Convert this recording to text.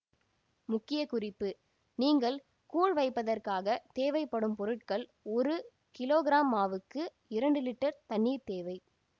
முக்கிய குறிப்பு நீங்கள் கூழ் வைப்பதற்காக தேவை படும் பொருள்கள் ஒரு கிலோ கிராம் மாவுக்கு இரண்டு லிட்டர் தண்ணிர் தேவை